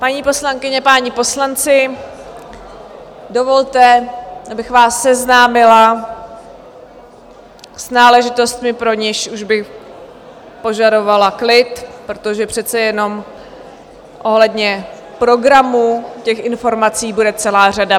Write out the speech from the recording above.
Paní poslankyně, páni poslanci, dovolte, abych vás seznámila s náležitostmi, pro něž už bych požadovala klid, protože přece jenom ohledně programu těch informací bude celá řada.